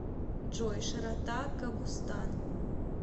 джой широта кобустан